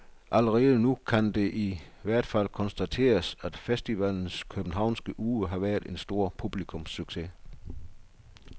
Allerede nu kan det i hvert fald konstateres, at festivalens københavnske uge har været en stor publikumssucces.